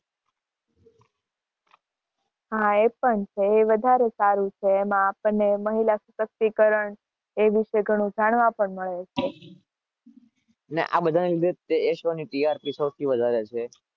હા, એ પણ છે.